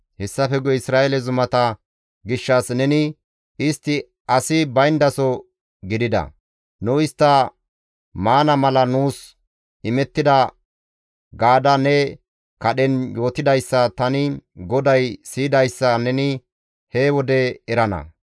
Hessafe guye Isra7eele zumata gishshas neni, ‹Istti asi bayndaso gidida; nu istta maana mala nuus imettida› gaada ne kadhen yootidayssa tani GODAY siyidayssa neni he wode erana.